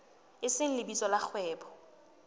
e seng lebitso la kgwebo